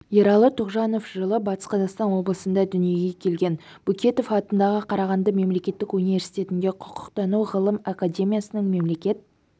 ералы тоғжанов жылыбатыс қазақстан облысында дүниеге келген бөкетов атындағы қарағанды мемлекеттік университетінде құқықтану ғылым академиясының мемлекет